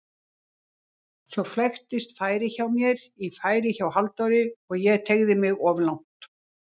Svo flæktist færið hjá mér í færið hjá Halldóri og ég teygði mig of langt.